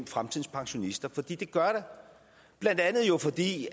fremtidens pensionister for det gør der blandt andet jo fordi